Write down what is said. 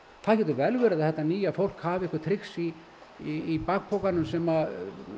það getur vel verið að þetta nýja fólk hafi einhver trix í í bakpokanum sem